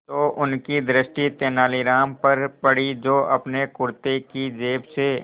तो उनकी दृष्टि तेनालीराम पर पड़ी जो अपने कुर्ते की जेब से